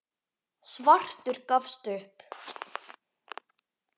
Svartur gafst upp.